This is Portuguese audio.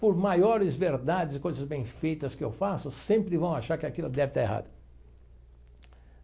Por maiores verdades e coisas bem feitas que eu faço, sempre vão achar que aquilo deve estar errado.